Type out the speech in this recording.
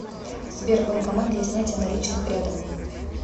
сбер банкомат для снятия наличных рядом